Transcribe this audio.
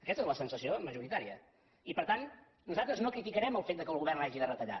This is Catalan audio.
aquesta és la sensació majoritài per tant nosaltres no criticarem el fet que el govern hagi de retallar